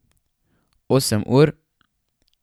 Osem ur?